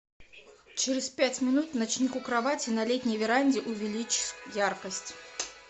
через пять минут ночник у кровати на летней веранде увеличь яркость